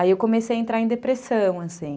Aí eu comecei a entrar em depressão, assim.